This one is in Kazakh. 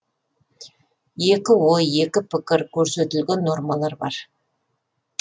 екі ой екі пікір көрсетілген нормалар бар